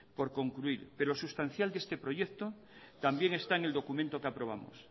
por concluir pero sustancial de este proyecto también está en el documento que aprobamos